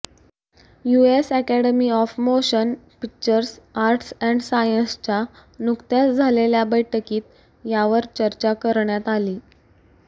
US Academy of Motion Picture Arts and साइंसच्या नुकत्याच झालेल्या बैठकीत यावर चर्चा करण्यात आली